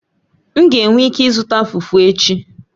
M ga-enwe ike ịzụta Fufu echi